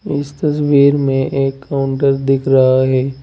इस तस्वीर में एक काउंटर दिख रहा है।